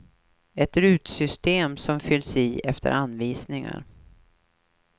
Ett rutsystem som fylls i efter anvisningar.